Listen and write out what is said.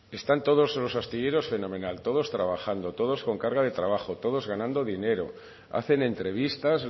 están todos los astilleros fenomenal todos trabajando todos con carga de trabajo todos ganando dinero hacen entrevistas